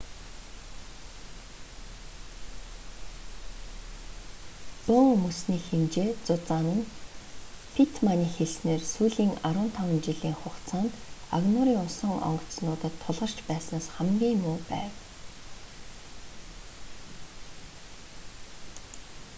бөөн мөсний хэмжээ зузаан нь питтманы хэлснээр сүүлийн 15 жилийн хугацаанд агнуурын усан онгоцнуудад тулгарч байснаас хамгийн муу байв